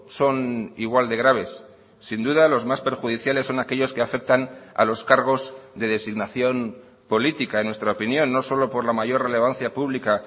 son igual de graves sin duda los más perjudiciales son aquellos que aceptan a los cargos de designación política en nuestra opinión no solo por la mayor relevancia pública